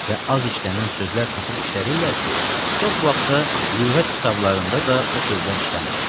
Və az işlənən sözlər tapıb işlədirlər ki, çox vaxt da lüğət kitablarında da o sözlər işlənmir.